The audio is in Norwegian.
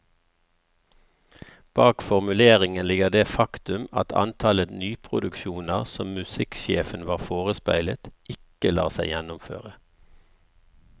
Bak formuleringen ligger det faktum at antallet nyproduksjoner som musikksjefen var forespeilet, ikke lar seg gjennomføre.